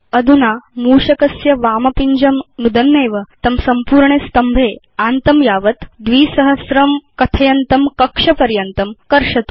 अधुना मूषकस्य वाम पिञ्जं नुदन्नेव तं संपूर्णे स्तम्भे आन्तं यावत् 2000 कथयन्तं कक्ष पर्यन्तं कर्षतु